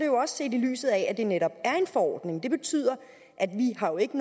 jo også i lyset af at det netop er en forordning det betyder at vi jo ikke